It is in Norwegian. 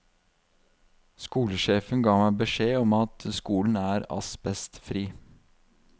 Skolesjefen gav meg beskjed om at skolen er asbestfri.